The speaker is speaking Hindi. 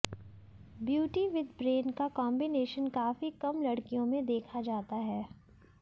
ब्यूटी विद ब्रेन का कॉम्बिनेशन काफी कम लड़कियों में देखा जाता है